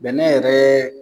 Bɛnɛ yɛrɛ